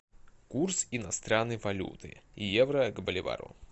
курс иностранной валюты евро к боливару